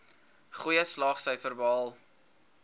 goeie slaagsyfers behaal